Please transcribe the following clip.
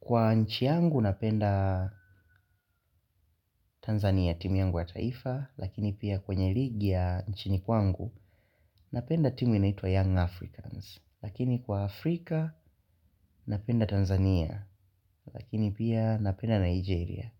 Kwa nchi yangu napenda Tanzania timu yangu ya taifa lakini pia kwenye ligi ya nchini kwangu napenda timu inaitua Young Africans lakini kwa Afrika napenda Tanzania lakini pia napenda Nigeria